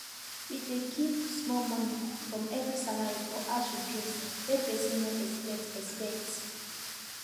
we dey keep small money from every salary for house repairs wey person no expect expect